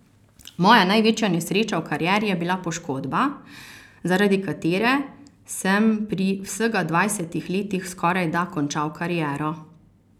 Moja največja nesreča v karieri je bila poškodba, zaradi katere sem pri vsega dvajsetih letih skorajda končal kariero.